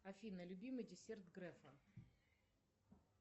афина любимый десерт грефа